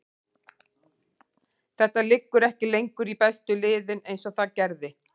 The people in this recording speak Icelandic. Þetta liggur ekki lengur í bestu liðin eins og það gerði.